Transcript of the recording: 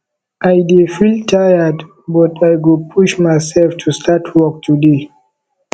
i dey feel tired but i go push myself to start work today